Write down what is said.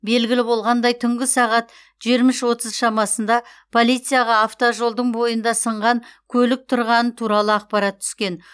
белгілі болғандай түнгі сағат жиырма үш отыз шамасында полицияға автожолдың бойында сынған көлік тұрғаны туралы ақпарат түскен